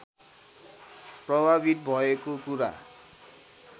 प्रभावित भएको कुरा